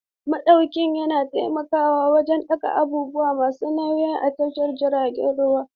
Maɗauki yana taimakawa wajen ɗaga abubuwa masu nauyi a tashar jiragen ruwa.